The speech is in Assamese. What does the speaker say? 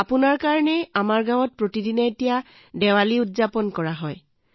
আপোনাৰ কাৰণে আমাৰ গাঁৱত প্ৰতিদিনে দেৱালী উদযাপন কৰা হয়